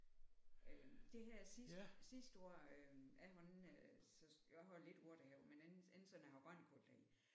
Øh det her sidste sidste år øh jeg har ikke jeg har lidt urtehave men ikke ikke sådan at jeg har grønkål deri